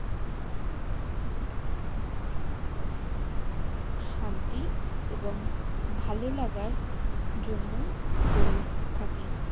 শান্তি এবং ভালো লাগার জন্য করে থাকি